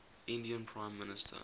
indian prime minister